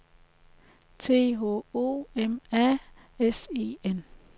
T H O M A S E N